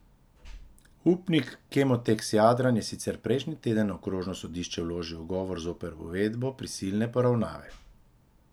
Upnik Kemoteks Jadran je sicer prejšnji teden na okrožno sodišče vložil ugovor zoper uvedbo prisilne poravnave.